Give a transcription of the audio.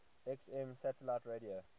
xm satellite radio